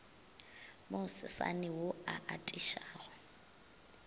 mo sesane wo o atišago